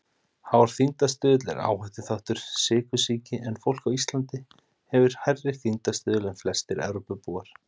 Hár þyngdarstuðull er áhættuþáttur sykursýki en fólk á Íslandi hefur hærri þyngdarstuðul en flestir Evrópubúar.